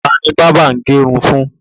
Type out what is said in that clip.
Ta ni bábà ń gẹ irun fún?